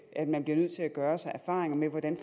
at man bliver nødt til at gøre sig erfaringer med hvordan